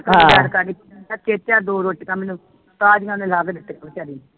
ਕਰੀ ਤੇ ਚੇਚਾ ਦੋ ਰੋਟੀਆ ਮੈਨੂੰ ਤਾਜ਼ੀਆਂ ਉਨ੍ਹਾਂ ਲਾ ਕੇ ਦਿੱਤੀਆਂ ਵਿਚਾਰੀ ਨੇ